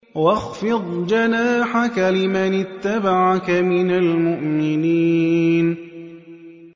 وَاخْفِضْ جَنَاحَكَ لِمَنِ اتَّبَعَكَ مِنَ الْمُؤْمِنِينَ